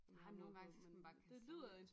Ah nogen gange så skal man bare kaste sig ud i det